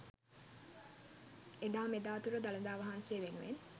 එදා මෙදා තුර දළදා වහන්සේ වෙනුවෙන්